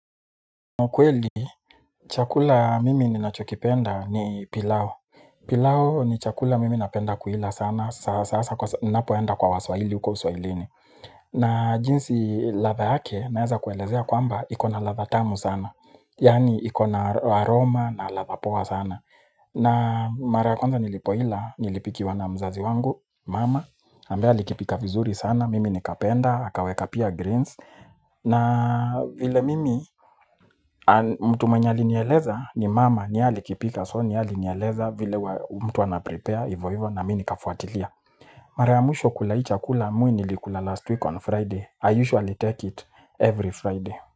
Kwa kweli, chakula mimi ninachokipenda ni pilau. Pilau ni chakula mimi napenda kuila sana. Sasa, ninapoenda kwa waswahili huko uswailini. Na jinsi ladha yake, naeza kuelezea kwamba, iko na ladha tamu sana. Yaani, iko na aroma na ladha poa sana. Na mara ya kwanza nilipoila, nilipikiwa na mzazi wangu, mama. Ambaye alikipika vizuri sana, mimi nikapenda, akaweka pia greens. Na vile mimi, mtu mwenye alinieleza ni mama ni yeye alikipika. So ni yeye alinieleza vile mtu anaprepare hivyo hivyo na mimi nikafuatilia mara ya mwisho kula hii chakula mi nilikula last week on Friday I usually take it every Friday.